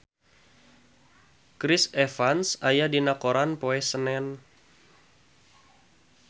Chris Evans aya dina koran poe Senen